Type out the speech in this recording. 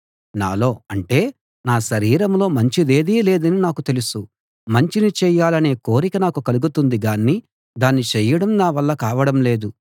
నాలో అంటే నా శరీరంలో మంచిదేదీ లేదని నాకు తెలుసు మంచిని చేయాలనే కోరిక నాకు కలుగుతుంది గాని దాన్ని చేయడం నా వల్ల కావడం లేదు